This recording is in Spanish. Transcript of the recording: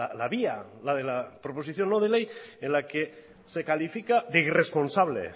la vía la de la proposición no de ley en la que se califica de irresponsable